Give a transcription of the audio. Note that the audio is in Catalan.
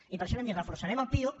i per això vam dir reforçarem el piuc